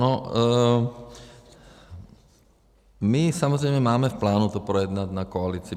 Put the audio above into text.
No, my samozřejmě máme v plánu to projednat na koalici.